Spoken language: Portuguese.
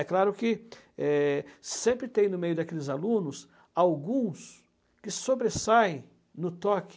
É claro que é sempre tem no meio daqueles alunos alguns que sobressaem no toque,